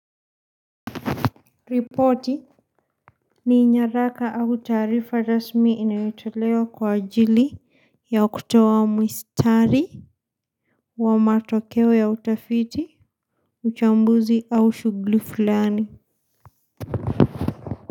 Ripoti ni nyaraka au taarifa rasmi inayotelewa kwa ajili ya kutowa mwistari wa matokewe ya utafiti, uchambuzi au shugli fulani.